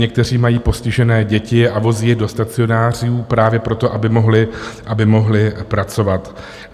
Někteří mají postižené děti a vozí je do stacionářů právě proto, aby mohli pracovat.